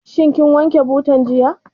Shin kin wanke butan jiya?